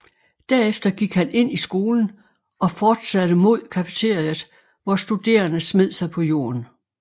Derefter gik han ind i skolen og fortsatte mod cafeteriaet hvor studerende smed sig på jorden